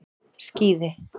Skíði